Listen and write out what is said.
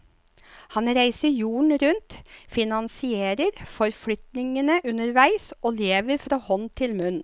Han reiser jorden rundt, finansierer forflytningene underveis, og lever fra hånd til munn.